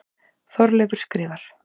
Þorleifur skrifar: